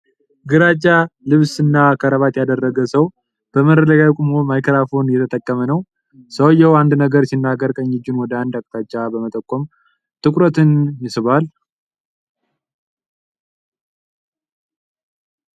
ግራጫ ልብስና ከረባት ያደረገ ሰው በመድረክ ላይ ቆሞ ማይክሮፎን እየተጠቀመ ነው። ሰውየው አንድ ነገር ሲናገር ቀኝ እጁን ወደ አንድ አቅጣጫ በመጠቆም ትኩረትን ይስባል።